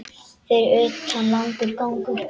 Fyrir utan langur gangur.